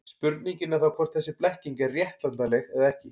Spurningin er þá hvort þessi blekking er réttlætanleg eða ekki.